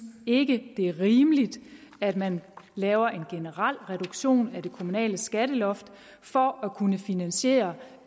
ikke det er rimeligt at man laver en generel reduktion af det kommunale skatteloft for at kunne finansiere